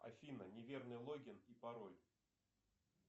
афина неверный логин и пароль